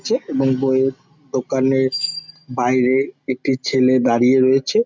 আছে এবং বইয়ের দোকানের বাইরে একটি ছেলে দাঁড়িয়ে রয়েছে।